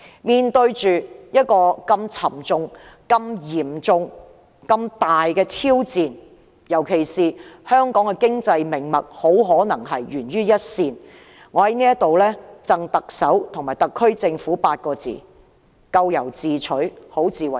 面對這個沉重、嚴重和大型挑戰，特別是香港的經濟命脈很可能會懸於一線，我在此贈特首和特區政府8個字：咎由自取，好自為之。